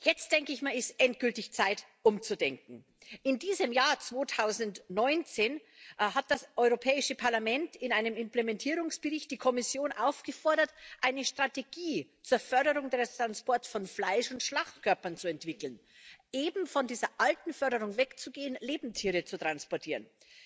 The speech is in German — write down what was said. Jetzt ist es endgültig Zeit, umzudenken. In diesem Jahr 2019 hat das Europäische Parlament in einem Implementierungsbericht die Kommission aufgefordert, eine Strategie zur Förderung des Transports von Fleisch und Schlachtkörpern zu entwickeln, eben von dieser alten Förderung wegzugehen, Lebendtiere zu transportieren